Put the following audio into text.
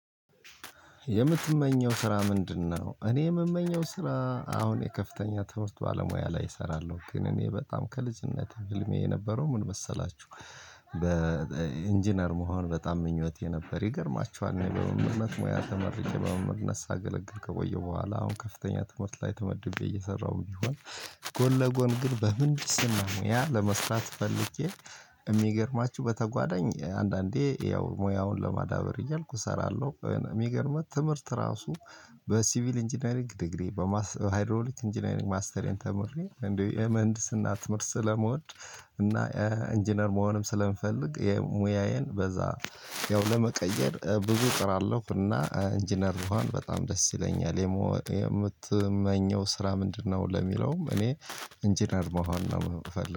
የምትመኘው ስራ ምንድነው እኔ የምመኘው ስራ አሁን የከፍተኛ ትምህርት ባለሙያ ላይ እሰራለሁ ግን እኔ በጣም ከልጅነቴ ህልሜ የነበረው ምን መሰላችሁ? በኢንጂነር መሆን በጣም ምኞት የነበር ይገርማችኋል። እና በመምህርነት ሙያ ተመርጬ በመምህርነት ሳገለገል ከቆየው በኋላ አሁን ከፍተኛ ትምህርት ላይ ተመድቤ እየሰራሁ ቢሆን ጎን ለጎን ግን በምን ስም ነው ያ ለመስራት ፈልጌ። የሚገርማችሁ በተጓዳኝ አንዳንዴ ያው ሙያውን ለማዳበር እያልኩ እሰራለሁ። የሚገርመው ትምህርት ራሱ በሲቪል ኢንጂነሪንግ ዲግሪ በሃይሮሊክ ኢንጂነሪንግ ማስተሬን ተምሬ እንደው የመህንድስና ትምህርት ስለመውድ። እና ኢንጂነር መሆንም ስለምፈልግ የሙያዬን በዛ ያው ለመቀየር ብዙ ጥራለሁ እና ኢንጂነር ብሆን በጣም ደስ ይለኛል። የምትመኘው ስራ ምንድነው? ለሚለውም እኔ ኢንጂነር መሆን ነው የምፈልገው